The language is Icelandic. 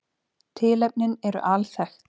Tilefnin eru alþekkt